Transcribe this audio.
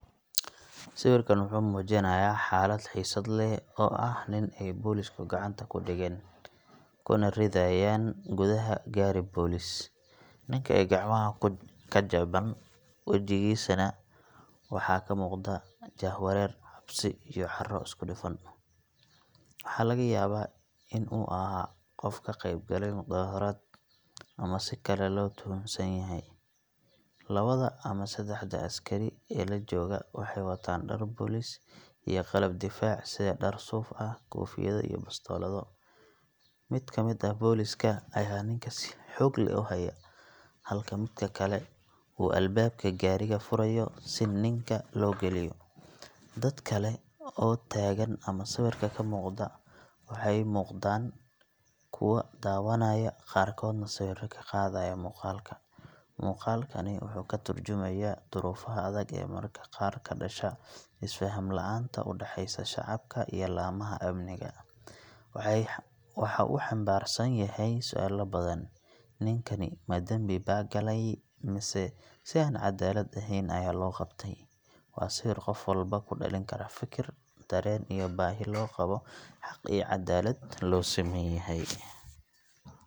Sawirkan wuxuu muujinayaa xaalad xiisad leh oo ah nin ay booliisku gacanta ku dhigeen, kuna ridayaan gudaha gaari booliis. Ninka ayaa gacmaha ka jeeban, wajigiisana waxaa ka muuqda jahwareer, cabsi, iyo caro isku dhafan. Waxaa laga yaabaa inuu ahaa qof ka qaybgalayay mudaharaad, ama si kale loo tuhunsan yahay. Labada ama saddexda askari ee la jooga waxay wataan dhar booliis iyo qalab difaac sida dhar suuf ah, koofiyado, iyo bastoolado. Mid ka mid ah booliiska ayaa ninka si xoog leh u haya, halka mid kale uu albaabka gaariga furayo si ninka loo geliyo. Dad kale oo ag taagan ama sawirka ka muuqda waxay u muuqdaan kuwo daawanaya, qaarkoodna sawirro ka qaadaya muuqaalka. Muuqaalkani wuxuu ka tarjumayaa duruufaha adag ee mararka qaar ka dhasha isfaham la’aanta u dhaxaysa shacabka iyo laamaha amniga. Waxa uu xambaarsan yahay su’aalo badan ninkani ma dambibaa galay mise si aan cadaalad ahayn ayaa loo qabtay? Waa sawir qof walba ku dhalin kara fikir, dareen, iyo baahi loo qabo xaq iyo cadaalad loo siman yahay.